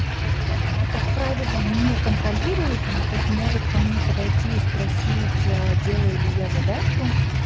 а как правило не контролирует он тут может ко мне подойти и спросить ээ делаю ли я задачу